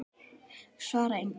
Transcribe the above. Svara engu.